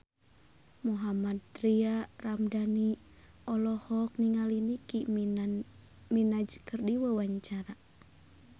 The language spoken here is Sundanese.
Mohammad Tria Ramadhani olohok ningali Nicky Minaj keur diwawancara